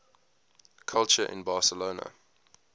culture in barcelona